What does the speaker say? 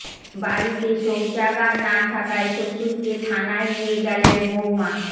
বাড়িতে শৌচাগার না থাকায় শ্বশুরকে থানায় নিয়ে গেলেন বৌমা